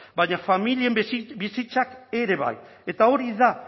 baina familien bizitzak ere bai eta hori da